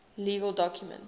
legal documents